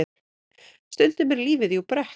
Stundum er lífið jú brekka.